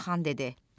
Qaraxan dedi: